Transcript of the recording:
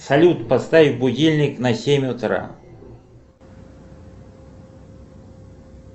салют поставь будильник на семь утра